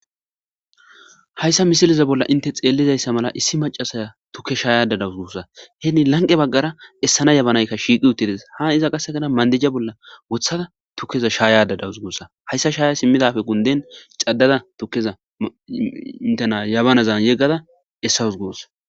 Hayssa misileza bolla inte tseelliza mala issi maccasa tuke shayada dawusu gussa. Hin lanqe baggara essana jabanayika shiiqqi uttidesa. Hayssa qassika mandaja bolla wottada tukeza shayada dawuzu gussa. Haysa shaya simidappe gundin cadadda tukeza jabanazan yegaza issa essawusu gussa.